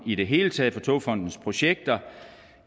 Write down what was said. i det hele taget for togfonden dks projekter